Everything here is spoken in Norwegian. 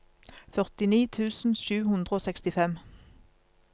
førtini tusen sju hundre og sekstifem